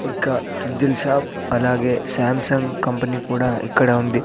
ఒక ఫ్రిజ్జుల షాప్ అలాగే సాంసంగ్ కంపెనీ కూడా ఇక్కడ ఉంది.